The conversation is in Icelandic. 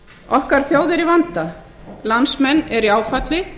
okkar þjóð er í vanda landsmenn eru í áfalli